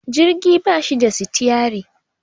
jirgi ba shi da sitiyari